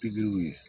Pikiriw ye